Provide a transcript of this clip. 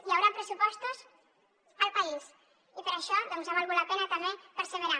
hi haurà pressupostos al país i per això doncs ha valgut la pena també perseverar